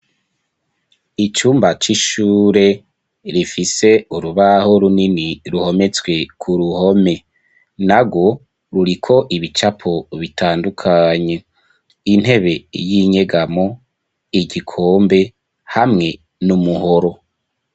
Icumba c'ishure, rifise urubaho runini, ruhometswe ku ruhome; nagwo, ruriko ibicapo bitandukanye, intebe y'inyegamo, igikombe, hamwe n'umuhoro.